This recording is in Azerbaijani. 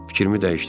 Fikrimi dəyişdirdim.